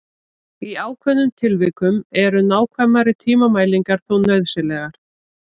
Í ákveðnum tilvikum eru nákvæmari tímamælingar þó nauðsynlegar.